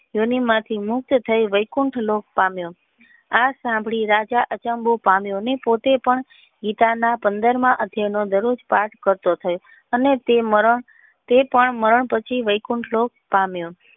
મયહી મુક્ત થઈ ગઈ લોક પામ્યો આ સાંભળી રાજા અસંબદ્ધ પામ્યો અને પોતે પણ ગીતા ના પંદર ના અધ્યાય નો પાથ કરતો થયો પણ તે મારણ તે પણ મરણ પછી વૈકુટ લોક પામ્યો.